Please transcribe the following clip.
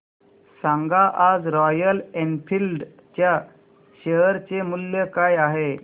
सांगा आज Royal Enfield च्या शेअर चे मूल्य काय आहे